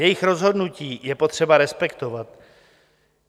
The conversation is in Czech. Jejich rozhodnutí je potřeba respektovat.